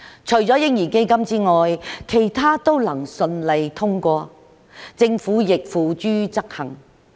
除了嬰兒基金之外，其他都能夠順利通過，政府亦付諸執行。